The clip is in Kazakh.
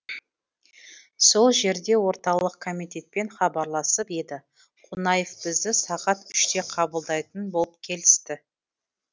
сол жерде орталық комитетпен хабарласып еді қонаев бізді сағат үште қабылдайтын болып келісті